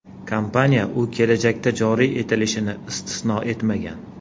Kompaniya u kelajakda joriy etilishini istisno etmagan.